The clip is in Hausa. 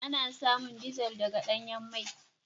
Ana samun dizar daga danyan mai.